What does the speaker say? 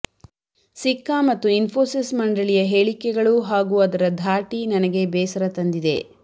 ಸಿಕ್ಕಾ ಮತ್ತು ಇನ್ಪೋಸಿಸ್ ಮಂಡಳಿಯ ಹೇಳಿಕೆಗಳು ಹಾಗೂ ಅದರ ಧಾಟಿ ನನಗೆ ಬೇಸರ ತಂದಿದೆ